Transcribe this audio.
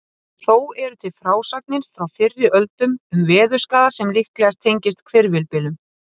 Þó eru til frásagnir frá fyrri öldum um veðurskaða sem líklega tengist hvirfilbyljum.